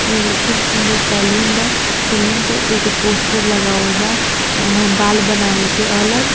यह खूब सुदंर सेलून बा सेलून एक पोस्टर लागल बा बाल बनावे के अलग--